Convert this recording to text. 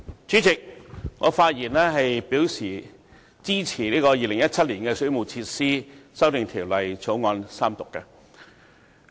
主席，我發言支持《2017年水務設施條例草案》的三讀。